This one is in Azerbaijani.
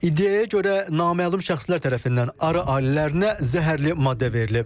İndiyəyə görə naməlum şəxslər tərəfindən arı ailələrinə zəhərli maddə verilib.